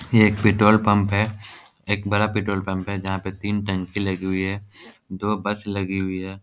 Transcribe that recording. ये एक petrol pump है एक बड़ा पेट्रोल पंप जहाँ पे तीन टंकी लगी हुई है दो बस लगी हुई है ।